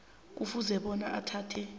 kufuze bona athathe